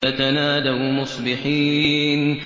فَتَنَادَوْا مُصْبِحِينَ